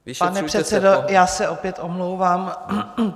Pane předsedo, já se opět omlouvám.